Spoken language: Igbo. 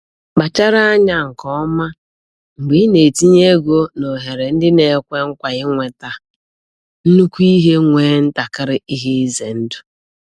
Kpachara anya nke ọma mgbe ị na-etinye ego n'ohere ndị na-ekwe nkwa inweta nnukwu ihe nwee ntakịrị ihe ize ndụ.